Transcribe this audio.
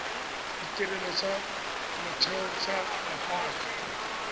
ditirelo tsa motheo tsa mahala